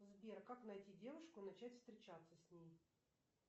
сбер как найти девушку и начать встречаться с ней